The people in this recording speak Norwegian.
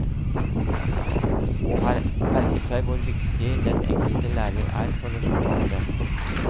Og har merket seg hvor viktig den enkelte lærer er for resultatet.